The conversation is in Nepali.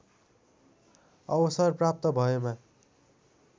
अवसर प्राप्त भएमा